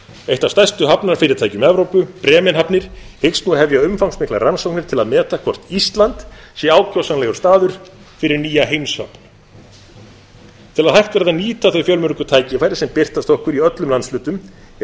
eitt af stærstu hafnarfyrirtækjum evrópu bremenhafnir hyggst nú hefja umfangsmiklar rannsóknir til að meta hvort ísland sé ákjósanlegur staður fyrir nýja heimshöfn til að hægt verði að nýta þau fjölmörgu tækifæri sem birtast okkur í öllum landshlutum er